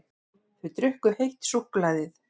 Þau drukku heitt súkkulaðið.